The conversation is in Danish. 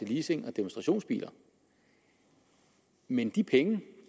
leasing og demonstrationsbiler men de penge den